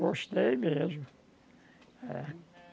Gostei mesmo. É